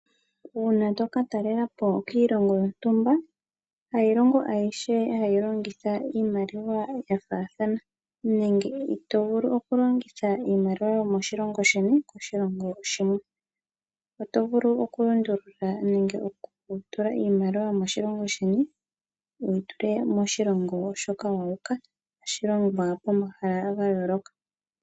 Uuna tokatalela po kiilongo yontumba, hayilongo ayihe hayi longitha iimaliwa yafaathana nenge ito vulu okulongitha iimaliwa yomoshilongo sheni koshilongo oshikwawo. Oto vulu okulundulula nenge okutula iimaliwa yomoshilongo sheni wuyi tule muyomoshilongo moka wu uka tashi longwa pomahala gayooloka.